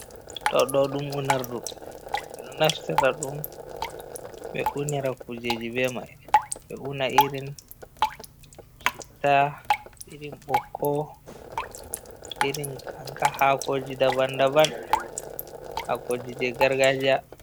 Ɗo ɗo ɗum unordu. Ɓe ɗo naftira ɗum ɓe unira kujeji be mai. Ɓe una irin shitta, irin ɓokko, irin anka hakoji daban daban, hakoji gargajiya.